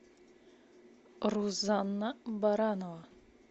рузанна баранова